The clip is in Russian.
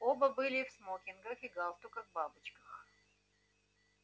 оба были в смокингах и галстуках-бабочках